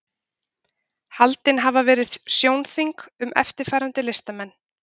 haldin hafa verið sjónþing um eftirfarandi listamenn